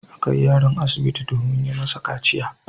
A kai yaron asibiti domin yi masa kaciya.